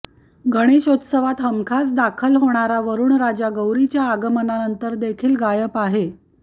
गणेशोतत्सवात हमखास दाखल होणारा वरुणराजा गौरीच्या आगमनानंतर देखील गायब आहे